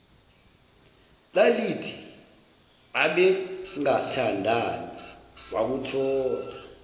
lalithi babengathandani wakuthola